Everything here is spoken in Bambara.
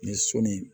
Ni sɔli